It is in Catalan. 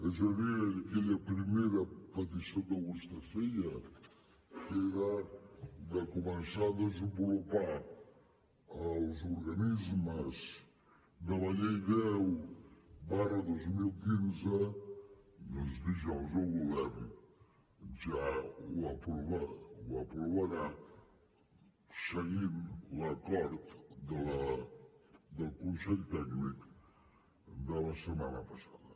és a dir aquella primera petició que vostè feia que era de començar a desenvolupar els organismes de la llei deu dos mil quinze doncs dijous el govern ja ho aprovarà seguint l’acord del consell tècnic de la setmana passada